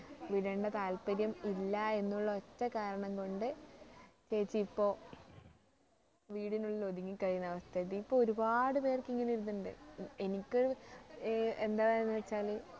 വിടേണ്ട താത്പര്യം ഇല്ല എന്നുള്ള ഒറ്റ കാരണം കൊണ്ട് ചേച്ചിയിപ്പോ വീടിനുള്ളിൽ ഒതുങ്ങി കഴിയുന്ന അവസ്ഥ എത്തി ഇപ്പൊ ഒരുപാടു പേർക്ക് ഇങ്ങനെ ഒരു ഇതുണ്ട് എനിക്ക് ഏർ എന്താ പറയുന്നെന്നു വച്ചാല്